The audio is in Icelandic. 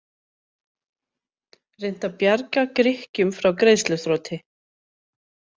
Reynt að bjarga Grikkjum frá greiðsluþroti